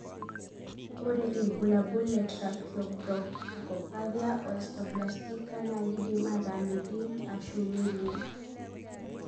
Ore bulabul le tracheobronchopathia osteoplastica (TO) na kindim ata metii ashu melio.